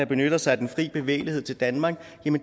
benytter sig af den frie bevægelighed til danmark